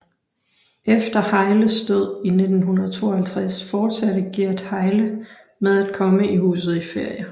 Efter Hejles død i 1952 fortsatte Gerd Hejle med at komme i huset i ferier